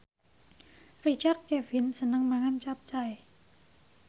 Richard Kevin seneng mangan capcay